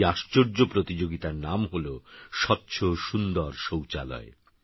আরএইআশ্চর্যপ্রতিযোগিতারনামহল স্বচ্ছসুন্দরশৌচালয়